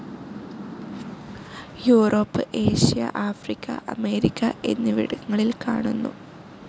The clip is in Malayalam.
യൂറോപ്പ്, ഏഷ്യ, ആഫ്രിക്ക, അമേരിക്ക എന്നിവിടങ്ങളിൽ കാണുന്നു.